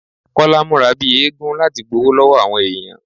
Kọ́lá múra bíi eégún láti gbowó lọ́wọ́ àwọn èèyàn